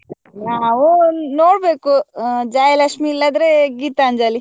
ನಾವು ನೋಡ್ಬೇಕು ಅ ಜಯಲಕ್ಷ್ಮೀ ಇಲ್ಲದ್ರೆ ಗೀತಾಂಜಲಿ.